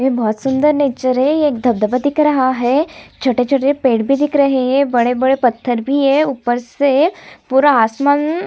ये बहोत सुन्दर नेचर है ये धब धब दिख रहा है छोटे-छोटे पेड़ भी दिख रहे है बड़े-बड़े पत्थर भी है ऊपर से पूरा आसमान--